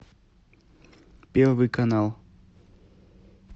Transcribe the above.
первый канал